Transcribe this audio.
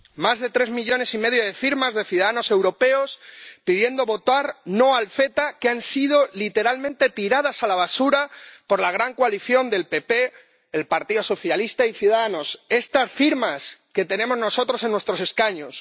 Más de tres millones y medio de firmas de ciudadanos europeos pidiendo votar no al CETA que han sido literalmente tiradas a la basura por la gran coalición del PP, el Partido Socialista y Ciudadanos, estas firmas que tenemos nosotros en nuestros escaños.